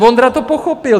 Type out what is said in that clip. Vondra to pochopil.